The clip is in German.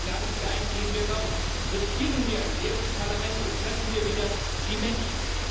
Ich lade Sie ein Gehen wir raus, riskieren wir ein leeres Parlament und treffen wir wieder die Menschen.